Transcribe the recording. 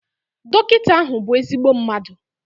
Dọkịta ahụ bụ ezigbo mmadu